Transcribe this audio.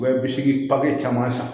U bɛ bisiki papiye caman san